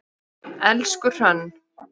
Elsku Hrönn.